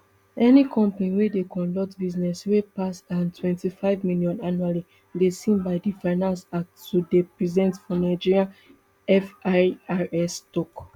any company wey dey conduct business wey pass ntwenty-five million annually dey seen by di finance act to dey present for nigeria firs tok